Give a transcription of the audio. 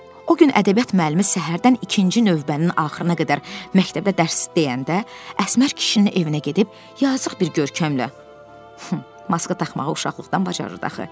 o gün ədəbiyyat müəllimi səhərdən ikinci növbənin axırına qədər məktəbdə dərs deyəndə Əsmər kişinin evinə gedib yazıq bir görkəmlə maska taxmağı uşaqlıqdan bacarırdı axı.